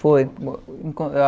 Foi.